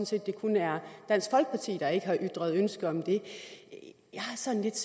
set at det kun er dansk folkeparti der ikke har ytret ønske om det jeg har sådan lidt